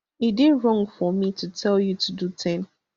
e dey wrong for me to tell you to do ten